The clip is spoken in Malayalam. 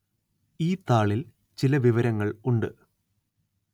ഈ താളില്‍ ചില വിവരങ്ങള്‍ ഉണ്ട്